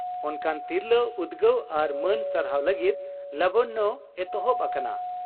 ᱚᱱᱠᱟᱱ ᱛᱤᱨᱞᱟᱹ ᱩᱫᱽᱜᱟᱹᱣ ᱟᱨ ᱢᱟᱹᱱ ᱥᱟᱨᱦᱟᱣ ᱞᱟᱹᱜᱤᱫ 'ᱞᱟᱵᱚᱱᱭᱚ' ᱮᱛᱚᱦᱚᱵ ᱟᱠᱟᱱᱟ ᱾